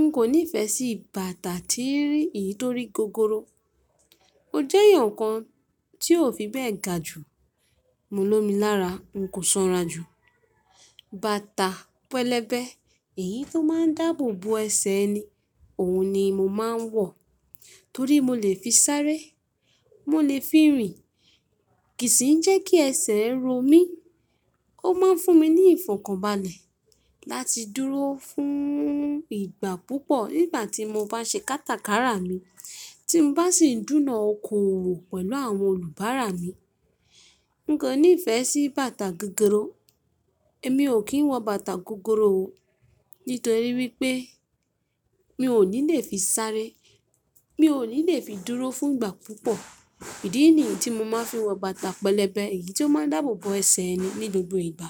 N kò nífẹ̀sí bàtà tii eyii torí gogoro. Mo jẹ́ èèyàn kan tí ó fi bẹ́ẹ̀ ga jù. Mo lómi lára, n kò sanra jù. Bàtà pẹlẹbẹ, èyí tó máa ń dáàbò bo ẹsẹ̀ ẹni, òun ni mo máa ń wọ̀ torí mo lè fi sáré, mo lè fi rìn, kì í sì ń jẹ́ kí ẹsẹ̀ ro mí. Ó máa ń fún mi ní ìfọ̀kànbalẹ̀ láti dúró fún ìgbà púpọ̀ nígbà tí mo bá ṣe kátàkárà mi, tí mo bá sì ń dúnà oko òwò pẹ̀lú àwọn olùbárà mi. N kò nífẹ̀ẹ́ sí bàtà gogoro. Èmi ò kí ń wọ bàtà gogoro o nítorí wípé mi ò ní lè fi sáré, mi ò ní lè fi dúró fún ìgbà púpọ̀. Ìdí nìyí tí mo máa ń fi wọ bàtà pẹlẹbẹ, èyí tó máa ń dáàbò bo ẹsẹ̀ ẹni ní gbogbo ìgbà.